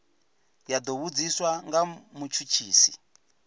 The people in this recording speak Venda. ya do vhudziswa nga mutshutshisi